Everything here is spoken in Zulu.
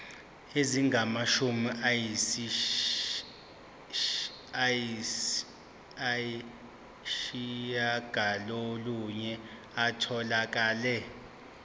ezingamashumi ayishiyagalolunye zitholakele